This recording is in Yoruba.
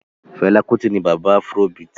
Fela Kuti ni bàbá afrobeat